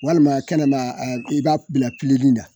walima kɛnɛ la i b'a bila pileli la